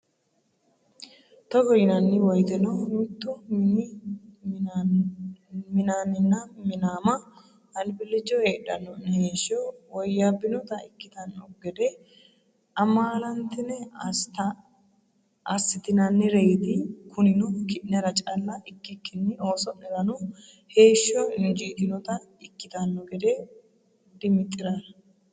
Togo yinanni woyteno mittu mini minaanninna minaama albillicho heedhanno’ne heeshsho woyyaabbinota ikkitanno gede amaalantine assitinannireeti Kunino ki’nera calla ikkikkinni ooso’nerano heeshsho injiitinota ikkitanno gede dimixi’ra?